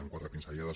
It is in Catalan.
en quatre pinzellades